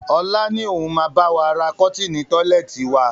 Ọlá ni òun máa bawa ra kọ́tinni tọ́lẹ́ẹ́tì wa.